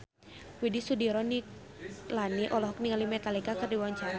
Widy Soediro Nichlany olohok ningali Metallica keur diwawancara